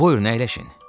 Buyurun əyləşin.